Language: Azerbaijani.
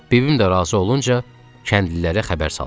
Bibim də razı olunca kəndlilərə xəbər saldıq.